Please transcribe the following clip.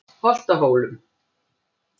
Holtahólum